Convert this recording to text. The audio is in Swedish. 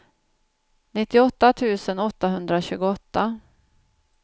nittioåtta tusen åttahundratjugoåtta